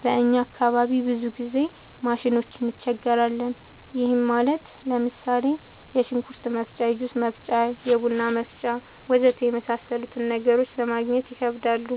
በእኛ አካባቢ ብዙ ጊዜ ማሽኖች እንቸገራለን። ይህም ማለት ለምሳሌ፦ የሽንኩርት መፍጫ፣ የጁስ መፍጫ፣ የቡና መፍጫ.... ወዘተ የመሣሠሉትን ነገሮች ለማገግኘት ይከብዳሉ።